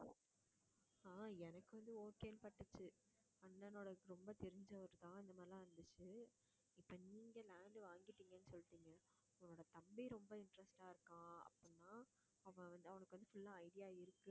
ஆஹ் எனக்கு வந்து okay ன்னு பட்டுச்சு அண்ணனோட ரொம்ப தெரிஞ்சவர்தான் இந்த மாதிரி எல்லாம் இருந்துச்சு இப்போ நீங்க land வாங்கிட்டேன்னு சொல்லிட்டீங்க உங்களோட தம்பி ரொம்ப interest ஆ இருக்கான் அப்படின்னா அவன் வந்து அவனுக்கு வந்து full ஆ idea இருக்கு